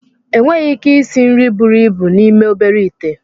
Enweghị ike isi nri buru ibu n'ime obere ite